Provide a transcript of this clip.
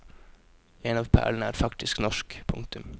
En av perlene er faktisk norsk. punktum